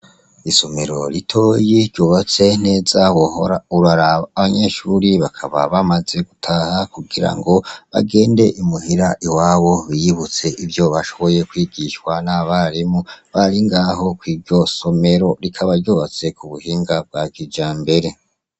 Isomero ritoyi ryubatse neza wahora uraraba. Abanyeshure bakaba bamaze gutaha kugirango bagende imuhira iwabo biyubutse ivyo bashoboye kwigishwa n’abarimu bari ngaho kwiryo somero. Rikaba ryubatse kubuhinga bwa kijambere.